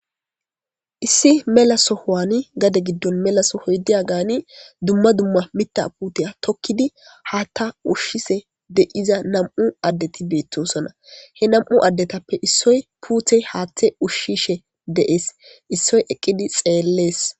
Issi melasohowani gade giddon melaso hoydiya gaani dumma dumma mita puteya tokkidi haatta ushshise de7iza nam7u addeti beettosona he nam7u addetappe issoy puute haatthe ushshishe deees issoy eqqidi xeellees.